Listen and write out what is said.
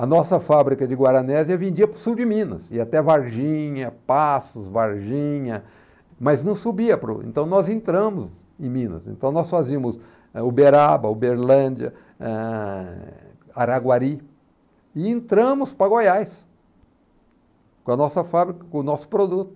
A nossa fábrica de Guaranésia vendia para o sul de Minas, ia até Varginha, Passos, Varginha, mas não subia, para o, então nós entramos em Minas, então nós fazíamos Uberaba, Uberlândia, eh, Araguari, e entramos para Goiás, com a nossa fábrica, com o nosso produto.